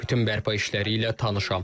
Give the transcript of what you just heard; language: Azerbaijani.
Bütün bərpa işləri ilə tanışam.